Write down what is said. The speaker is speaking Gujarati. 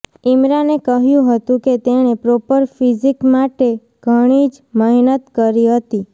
ઈમરાને કહ્યું હતું કે તેણે પ્રોપર ફિઝિક માટે ઘણી જ મહેનત કરી હતી